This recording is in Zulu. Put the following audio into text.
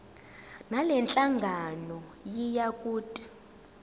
ngalenhlangano yiya kut